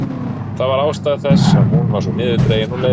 Það var ástæða þess að hún var svo niðurdregin og leið.